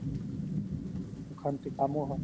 অখান্তি কামোৰ হয়